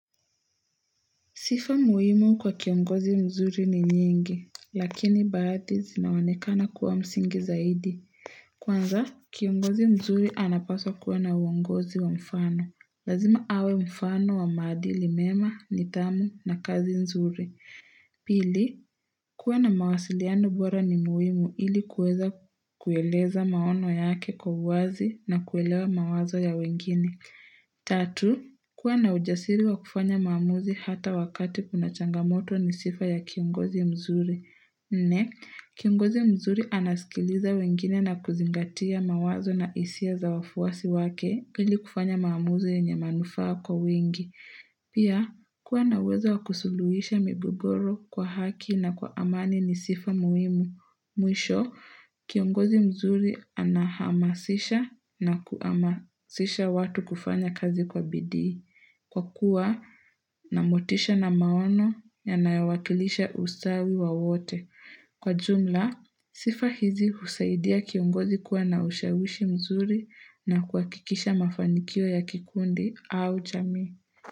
Sifa muhimu kwa kiongozi mzuri ni nyingi, lakini bahati zinaonekana kuwa msingi zaidi. Kwanza, kiongozi mzuri anapaswa kuwa na uongozi wa mfano. Lazima awe mfano wa maadili mema, nidhamu na kazi mzuri. Pili, kuwa na mawasiliano bora ni muhimu ili kuweza kueleza maono yake kwa uwazi na kuelewa mawazo ya wengine. 3. Kuwa na ujasiri wa kufanya maamuzi hata wakati kuna changamoto ni sifa ya kiongozi mzuri. 4. Kiongozi mzuri anaskiliza wengine na kuzingatia mawazo na isia za wafuasi wake ili kufanya maamuzi yenye manufaa kwa wengi. Pia, kuwa na uwezo wa kusuluisha migogoro kwa haki na kwa amani ni sifa muhimu. Mwisho, kiongozi mzuri anahamasisha na kuamasisha watu kufanya kazi kwa bidii. Kwa kuwa, na motisha na maono yanayo wakilisha usawi wa wote. Kwa jumla, sifa hizi husaidia kiongozi kuwa na ushawishi mzuri na kuakikisha mafanikio ya kikundi au chami.